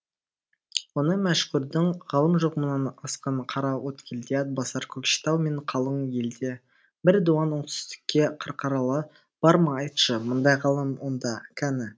оны мәшһүрдің ғалым жоқ мұнан асқан қараөткелде атбасар көкшетау мен қалың елде бір дуан оңтүстікте қарқаралы бар ма айтшы мұндай ғалым онда кәні